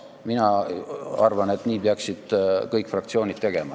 Mina arvan, et nii peaksid kõik fraktsioonid tegema.